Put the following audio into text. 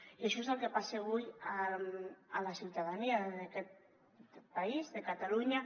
i això és el que li passa avui a la ciutadania d’aquest país de catalunya